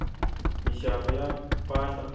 minxavo ya mpahla